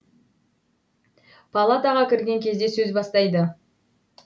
палатаға кірген кезде сөз бастайды